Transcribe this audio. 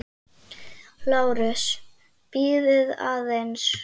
LÁRUS: Bíðið aðeins!